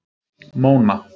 Móna